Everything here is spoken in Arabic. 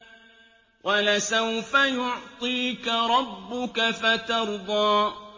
وَلَسَوْفَ يُعْطِيكَ رَبُّكَ فَتَرْضَىٰ